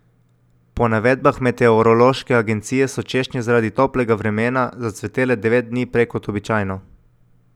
Po navedbah meteorološke agencije so češnje zaradi toplega vremena zacvetele devet dni prej kot običajno.